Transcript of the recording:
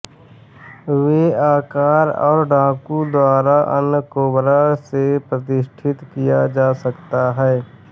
वे आकार और डाकू द्वारा अन्य कोबरा से प्रतिष्ठित किया जा सकता है